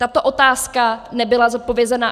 Tato otázka nebyla zodpovězena.